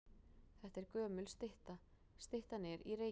Þetta er gömul stytta. Styttan er í Reykjavík.